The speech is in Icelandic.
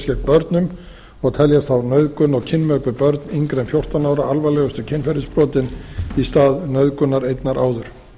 börnum og tel ég þá nauðgun og kynmök við börn yngri en fjórtán ára alvarlegustu kynferðisbrotin í stað nauðgunar einnar áður